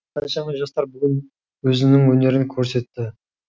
қаншама жастар бүгін өзінің өнерін көрсетті